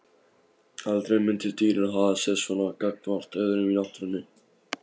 Aldrei myndu dýrin haga sér svona gagnvart öðrum í náttúrunni.